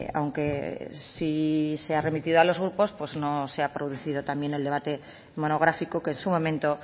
aunque sí se ha remitido a los grupos pues no se ha producido también el debate monográfico que en su momento